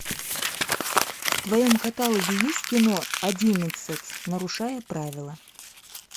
в твоем каталоге есть кино одиннадцать нарушая правила